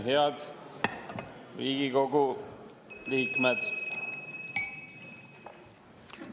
Head Riigikogu liikmed!